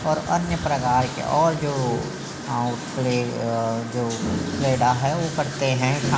और अन्य प्रकार के और जो पेड़ा है पत्ते हैं |